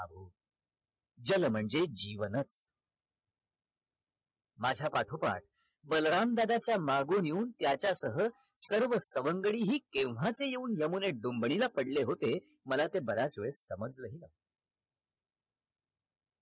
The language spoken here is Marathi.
जल म्हणजे जीवन माझ्या पाठोपाठ बलराम दादाच्या मागून येऊन त्याच्यासह सर्व सवंगडी हि केव्हाचे येऊन यमुनेत डूम्बनीला पडले होते मला ते बराच वेळ समजला नाही